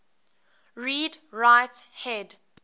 read write head